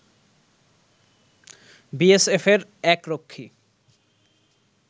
বিএসএফের এক রক্ষী